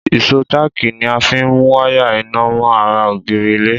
Ìsó táákì ni a fín mú wáyà iná mọ́ ara ògiri ilé